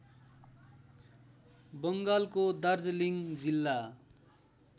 बङ्गालको दार्जिलिङ जिल्ला